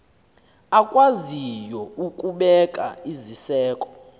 akwaziyo ukubeka iziseko